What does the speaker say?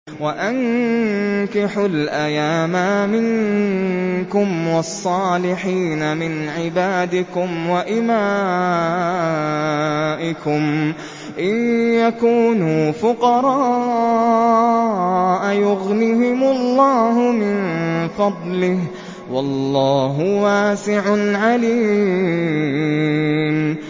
وَأَنكِحُوا الْأَيَامَىٰ مِنكُمْ وَالصَّالِحِينَ مِنْ عِبَادِكُمْ وَإِمَائِكُمْ ۚ إِن يَكُونُوا فُقَرَاءَ يُغْنِهِمُ اللَّهُ مِن فَضْلِهِ ۗ وَاللَّهُ وَاسِعٌ عَلِيمٌ